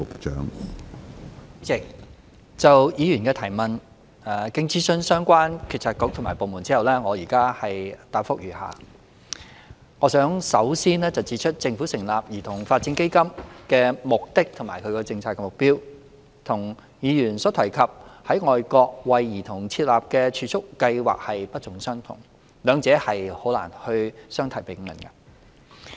主席，就議員的主體質詢，經諮詢相關政策局及部門後，我現在答覆如下：我想首先指出政府成立兒童發展基金的目的及政策目標，與議員提及在外國為兒童設立的儲蓄計劃不盡相同，兩者難以相提並論。